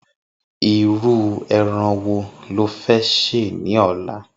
Irú èràn wó ló fè sé lòlá?